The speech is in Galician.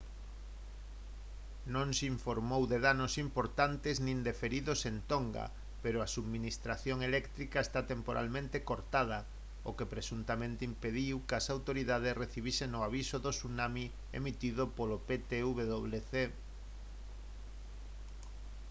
non se informou de danos importantes nin de feridos en tonga pero a subministración eléctrica está temporalmente cortada o que presuntamente impediu que as autoridades recibisen o aviso de tsunami emitido polo ptwc